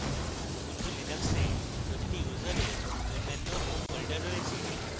ubuntu linux a প্রতিটি ইউসারের অনন্য home folder রয়েছে